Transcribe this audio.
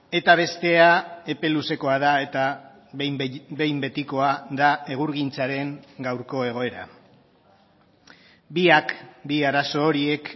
eta bestea epe luzekoa da eta behin betikoa da egurgintzaren gaurko egoera biak bi arazo horiek